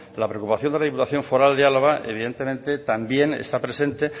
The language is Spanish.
la preocupación de la diputación foral de álava evidentemente también está presente